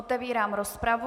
Otevírám rozpravu.